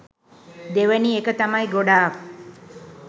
දෙවැනි එක තමයි ගොඩාක්